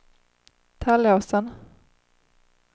Tallåsen